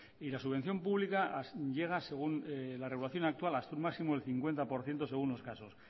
y la subvención pública llega según la regulación actual hasta un máximo del cincuenta por ciento según los casos